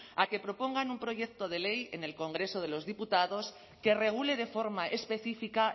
a que propongan un proyecto de ley en el congreso de los diputados que regule de forma específica